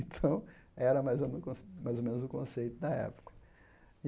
Então era mais ou menos con mais ou menos o conceito da época.